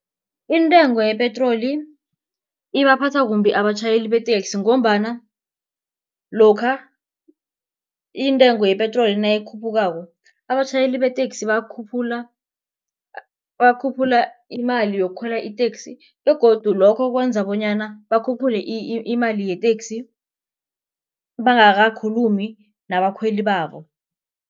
Intengo yepetroli ibaphatha kumbi abatjhayeli beteksi ngombana lokha intengo yepetroli nayikhuphukako. Abatjhayeli beteksi bakhuphula bakhuphula imali yokukhwela iteksi begodu lokho kwenza bonyana bakhuphule imali yeteksi bangakhulumi nabakhweli babo.